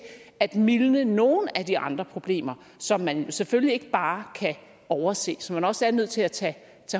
at mildne nogle af de andre problemer som man selvfølgelig ikke bare kan overse og som man også er nødt til at tage